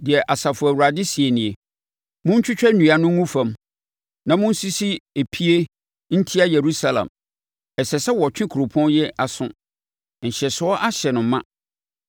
Deɛ Asafo Awurade seɛ nie: “Montwitwa nnua no ngu fam na monsisi epie ntia Yerusalem. Ɛsɛ sɛ wɔtwe kuropɔn yi aso; nhyɛsoɔ ahyɛ no ma.